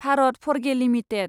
Bharat Forge limited